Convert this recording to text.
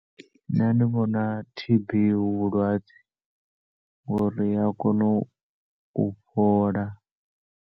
Nṋe ndi vhona T_B hu vhulwadze ngori iya kona u fhola.